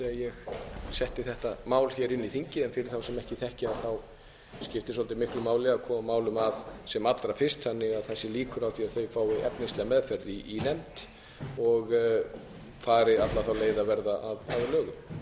ég setti þetta mál hér inn í þingið fyrir þá sem þekkja skiptir svolitlu máli að koma málum að sem allra fyrst þannig að það séu líkur á að þau fái efnislega meðferð í nefnd og fari alla leið að verða